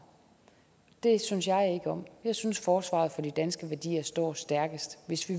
og det synes jeg ikke om jeg synes at forsvaret for de danske værdier står stærkest hvis vi